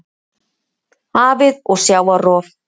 Hafið og sjávarrof